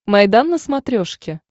майдан на смотрешке